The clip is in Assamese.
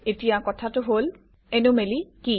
এতিয়া কথাটো হল এনোমেলি কি